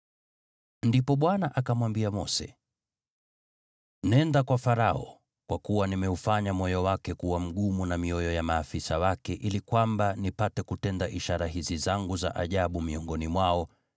Ndipo Bwana akamwambia Mose, “Nenda kwa Farao, kwa kuwa nimeufanya moyo wake kuwa mgumu na mioyo ya maafisa wake ili kwamba nipate kutenda ishara hizi zangu za ajabu miongoni mwao